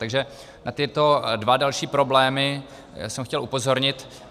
Takže na tyto dva další problémy jsem chtěl upozornit.